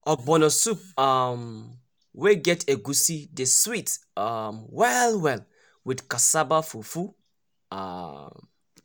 ogbono soup um wey get egusi dey sweet um well well with cassava fufu. um